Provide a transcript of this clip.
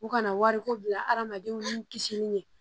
U kana wariko bila hadamadenw ni kisili ye